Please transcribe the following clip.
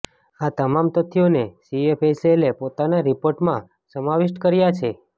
આ તમામ તથ્યોને સીએફએસએલે પોતાના રિપોર્ટમાં સમાવિષ્ટ કર્યા છે